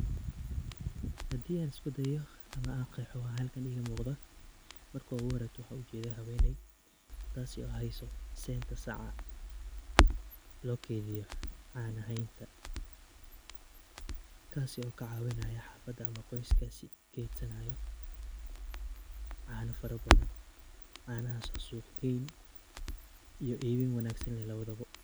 Haddii aan isku dayo ama aan qeexo waxa halkaan iiga muuqda .Marka ugu horeydo waxa aan u jedaa haweneey, taasi oo hayso seenta saca ,loo keydiyo caana haynta kaasi oo ka cawinaayo xafada ama qoyskasi kaydsanaayo caana fara badan ,canahaas oo suuqgeyn iyo iibin wanaagsan lawa bo.